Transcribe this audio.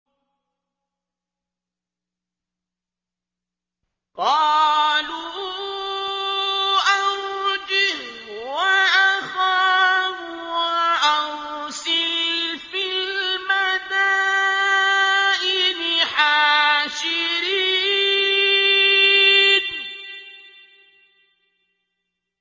قَالُوا أَرْجِهْ وَأَخَاهُ وَأَرْسِلْ فِي الْمَدَائِنِ حَاشِرِينَ